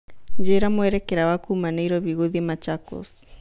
njĩira mũerekera wa Kuma Nairobi gũthĩĩ machakos